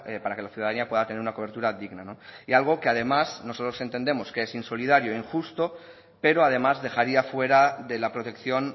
para que la ciudadanía pueda tener una cobertura digna no y algo que además nosotros entendemos que es insolidario e injusto pero además dejaría fuera de la protección